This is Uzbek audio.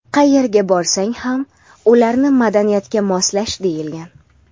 qayerga borsang ham ularni madaniyatga moslash deyilgan.